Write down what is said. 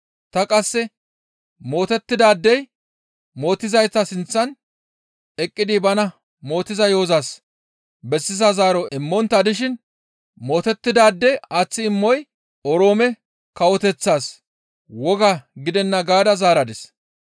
Ta qasse, ‹Mootettidaadey mootizayta sinththan eqqidi bana mootiza yo7ozas bessiza zaaro immontta dishin mootettidaade aaththi imoy Oroome kawoteththaas woga gidenna› gaada zaaradis.